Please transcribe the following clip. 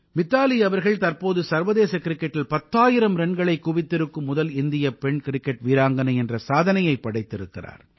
மித்தாலி அவர்கள் தற்போது சர்வதேச கிரிக்கெட்டில் பத்தாயிரம் ரன்களைக் குவித்திருக்கும் முதல் இந்தியப் பெண் கிரிக்கெட் வீராங்கனை என்ற சாதனையைப் படைத்திருக்கிறார்